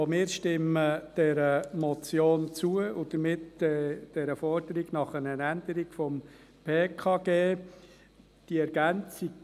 Auch wir stimmen der Motion zu und damit der Forderung nach einer Änderung des Gesetzes über die kantonalen Pensionskassen (PKG).